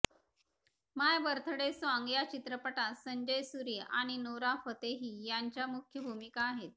माय birthday song या चित्रपटात Sanjay Suri Nora नोरा फतेही यांच्या मुख्य भूमिका आहेत